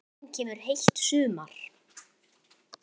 Til mín kemur heilt sumar.